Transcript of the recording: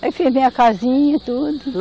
Aí fiz minha casinha e tudo.